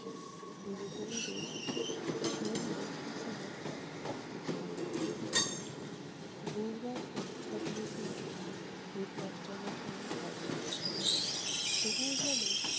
দিদিমণিদের শেন দৃষ্টি ছিলো তিতিরের উপর। নির্বাণ পরীক্ষা দিয়েছিলো headmaster মশাইয়ের ঘরে। তবুও যেন-